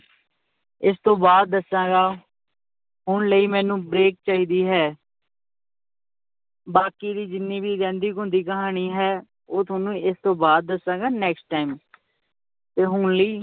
ਇਸ ਤੋਂ ਬਾਅਦ ਦਸਾਂਗਾਂ ਹੁਣ ਲਈ ਮੈਨੂੰ break ਚਾਹੀਦੀ ਹੈ ਬਾਕੀ ਦੀ ਜਿੰਨੀ ਵੀ ਰਹਿੰਦੀ ਖੁੰਹਦੀ ਕਹਾਣੀ ਹੈ ਉਹ ਤੁਹਾਨੂੰ ਇਸ ਤੋਂ ਬਾਅਦ ਦੱਸਾਂਗਾ next time ਤੇ ਹੁਣ ਲਈ